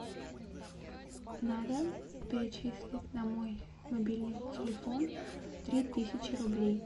надо перечислить на мой мобильный телефон три тысячи рублей